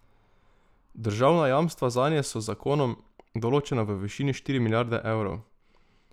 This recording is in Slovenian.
Državna jamstva zanje so z zakonom določena v višini štiri milijarde evrov.